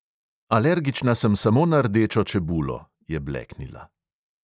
"Alergična sem samo na rdečo čebulo," je bleknila.